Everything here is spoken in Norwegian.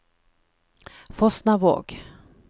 Fosnavåg